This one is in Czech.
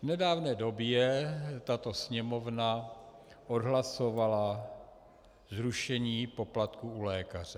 V nedávné době tato Sněmovna odhlasovala zrušení poplatků u lékaře.